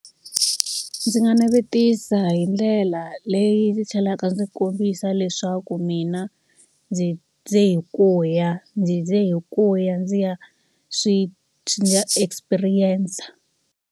Ndzi nga navetisa hi ndlela leyi yi tlhelaka ndzi kombisa leswaku mina ndzi ze hi ku ya, ndzi ze hi ku ya ndzi ya swi ndzi ya experience-a.